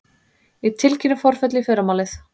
Ég tilkynni forföll í fyrramálið.